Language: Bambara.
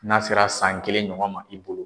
N'a sera san kelen ɲɔgɔn ma i bolo.